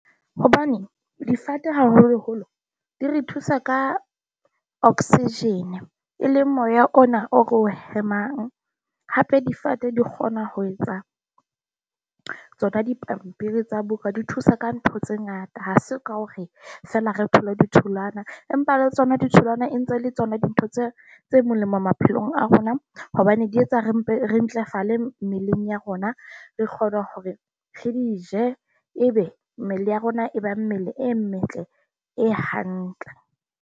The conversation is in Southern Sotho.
Hobane difate haholoholo di re thusa ka oxygen, e leng moya ona o re o hemang. Hape difate di kgona ho etsang tsona dipampiri tsa buka, di thusa ka ntho tse ngata. Ha se ka hore feela re thole ditholwana, empa le tsona ditholwana e ntse le tsona dintho tse tse molemo maphelong a rona a hobane di etsa re re mmeleng ya rona, re kgone hore re di je. Ebe mmele ya rona e ba mmele e metle, e hantle.